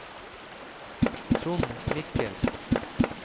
Trond Michelsen